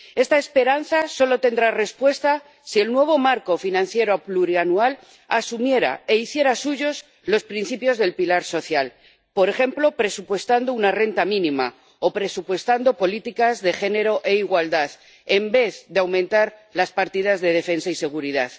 Esta esperanza solo tendría respuesta si el nuevo marco financiero plurianual asumiera e hiciera suyos los principios del pilar social, por ejemplo, presupuestando una renta mínima o presupuestando políticas de género e igualdad, en vez de aumentar las partidas de defensa y seguridad.